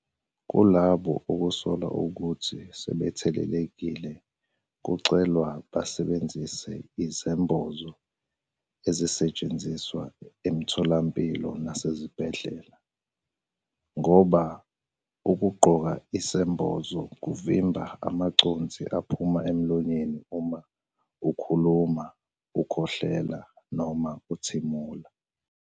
Kulabo okusolwa ukuthi sebethelelekilekucelwa basebenzise izembozo ezisetshenziswa emitholampilo nasezibhedlela, ngoba ukugqoka isembozo kuvimba amaconsi aphuma emlonyeni uma ukhuluma, ukhwehlela noma uthimula.